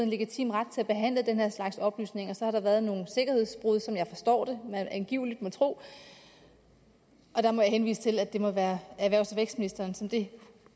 legitim ret til at behandle den her slags oplysninger så har der været nogle sikkerhedsbrud som jeg forstår det og man angiveligt må tro og der må jeg henvise til at det må være erhvervs og vækstministeren som det